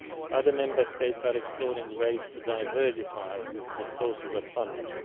Other Member States are exploring ways to diversify the sources of funding.